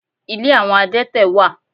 Ilé àwọn adẹ́tẹ̀ wà.